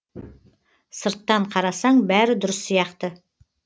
сырттан қарасаң бәрі дұрыс сияқты